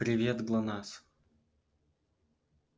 привет глонассс